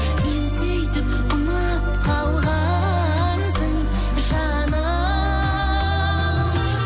сен сөйтіп ұнап қалғансың жаным